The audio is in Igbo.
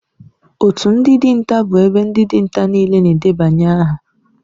Otu ndị dinta bụ ebe ndị dinta niile na-edebanye aha